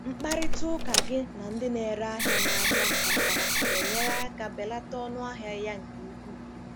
Mkparịta ụka Gị na ndị na-ere ahịa n'ahịa mpaghara na-enyere aka belata ọnụ ahịa ya nke ukwuu.